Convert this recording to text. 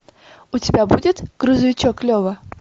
у тебя будет грузовичок лева